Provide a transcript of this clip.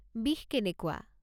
বিষ কেনেকুৱা?